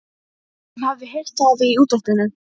Hann hafði heyrt það í útvarpinu.